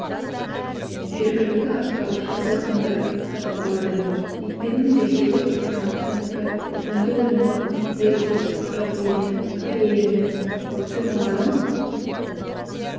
жергілікті атқарушы органдар сатып алады екпенің ресейлік франциянікі үнді өнімі бельгия жапония корея мен вакциналарын